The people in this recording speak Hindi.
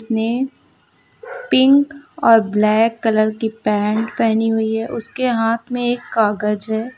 ने पिंक और ब्लैक कलर की पैंट पहनी हुई है उसके हाथ में एक कागज है।